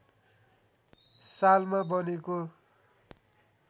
सालमा बनेको